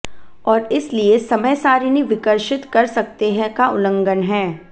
और इसलिए समय सारिणी विकर्षित कर सकते हैं का उल्लंघन है